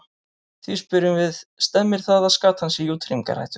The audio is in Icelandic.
Því spyrjum við, stemmir það að skatan sé í útrýmingarhættu?